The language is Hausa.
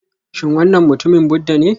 Shin wannan mutumin Buddha ne?